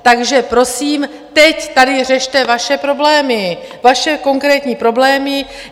Takže prosím, teď tady řešte vaše problémy, vaše konkrétní problémy.